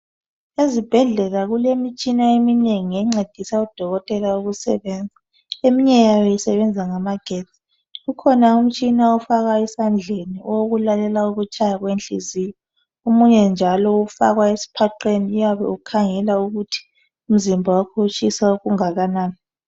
Ezibhedlela kulemitshina eminengi encedisa udokotela ukusebenza. Eminye yayo isebenza ngamagetsi. Kukhona umtshina ofakwayo esandleni owokulalela ukutshaya kwenhliziyo omunye njalo ufakwa esiphaqeni uyabe ukhangela ukuthi umzimba wakho utshisa okungakanani